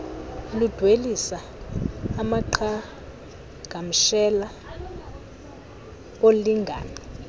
ludwelisa amaqhagamshela olingano